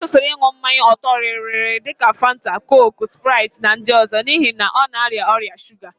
Ọ kwụsịrị ịn̄ụ mmanya ọ̀tọ́rịrịrị dika Fanta, kooku, spraịt na ndị ọzọ n'ihi na ọ na-arịa ọrịa shuga